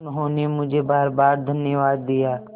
उन्होंने मुझे बारबार धन्यवाद दिया